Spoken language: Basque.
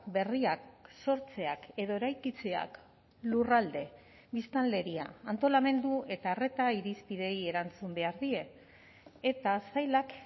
berriak sortzeak edo eraikitzeak lurralde biztanleria antolamendu eta arreta irizpideei erantzun behar die eta sailak